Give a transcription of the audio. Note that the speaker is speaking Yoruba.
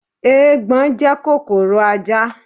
Eegbon jẹ́ kòkòrò ajá.